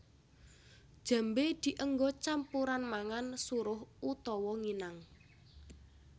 Jambé dienggo campuran mangan suruh utawa nginang